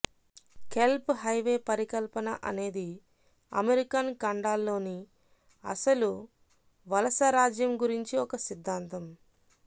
kelp highway పరికల్పన అనేది American ఖండాల్లోని అసలు వలసరాజ్యం గురించి ఒక సిద్ధాంతం